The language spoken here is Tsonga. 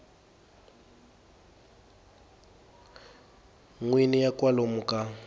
n wini ya kwalomu ka